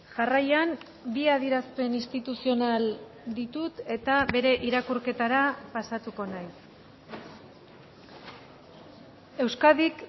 jarraian bi adierazpen instituzional ditut eta bere irakurketara pasatuko naiz euskadik